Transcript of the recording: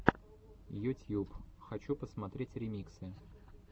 ютьюб хочу посмотреть ремиксы